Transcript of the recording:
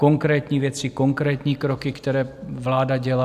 Konkrétní věci, konkrétní kroky, které vláda dělá.